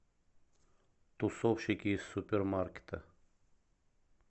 тусовщики из супермаркета